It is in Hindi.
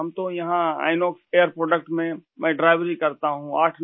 हम तो यहाँ इनॉक्स एयर प्रोडक्ट में मैं ड्राईवरी वर्किंग एएस आ ड्राइवर करता हूँ